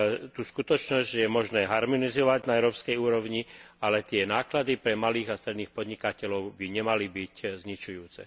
tú skutočnosť, že je možné harmonizovať na európskej úrovni, ale tie náklady pre malých a stredných podnikateľov by nemali byť zničujúce.